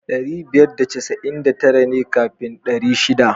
Ɗari biyar da casa'in da tara ne kafin ɗari shiɗa.